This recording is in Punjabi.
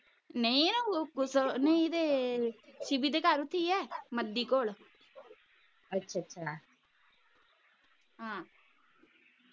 ਨਹੀਂ ਨਾ ਨਹੀਂ ਤੇ ਸ਼ਿਵੀ ਦੇ ਘਰ ਚ ਈ ਏ ਮਦੀ ਹਾਂ